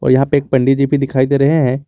यहां पे एक पंडित जी भी दिखाई दे रहे हैं।